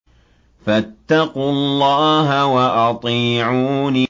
فَاتَّقُوا اللَّهَ وَأَطِيعُونِ